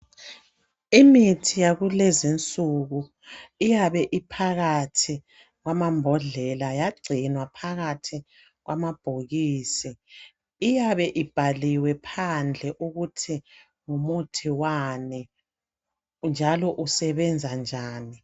Imithi yakulezinsuku iyabe iphakathi kwamambodlela yagcinwa phakathi kwamabhokisi. Iyabe ibhaliwe phandle ukuthi ngumuthi wani njalo usebenza njani